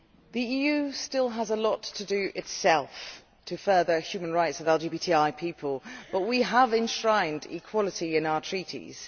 The EU still has a lot to do itself to further the human rights of LGBTI people, but we have enshrined equality in our Treaties.